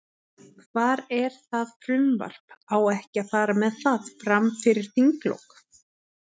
Hvar er það frumvarp, á ekki að fara með það, fram fyrir þinglok?